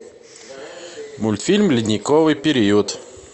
мультфильм ледниковый период